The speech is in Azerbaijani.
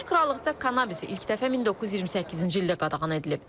Birləşmiş Krallıqda kannabis ilk dəfə 1928-ci ildə qadağan edilib.